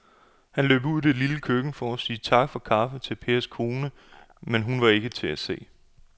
Han løb ud i det lille køkken for at sige tak for kaffe til Pers kone, men hun var ikke til at se.